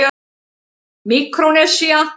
Míkrónesía